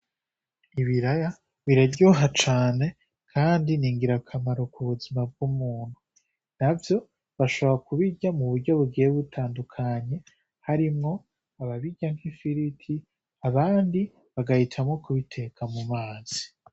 Ibiraya biraryoha cane kandi ni ngirakamaro ku buzima bw'umuntu. Navyo bashobora kubirya mu buryo bugiye bitandukanye harimwo ababirya nk'ifiriti, abandi bagahitamwo kubiteka mu mazi.